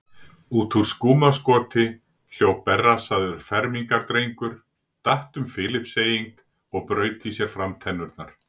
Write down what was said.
Út úr skúmaskoti hljóp berrassaður fermingardrengur, datt um Filippseying og braut í sér framtennurnar.